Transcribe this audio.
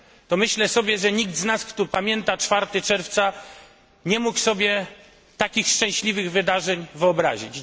to myślę sobie, że nikt z nas, kto pamięta 4 czerwca, nie mógł sobie takich szczęśliwych wydarzeń wyobrazić.